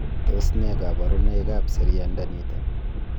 Tos nee koborunoikab seriandaniton?